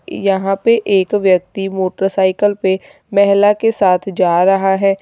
यहां पे एक व्यक्ति मोटरसाइकल पे महिला के साथ जा रहा है।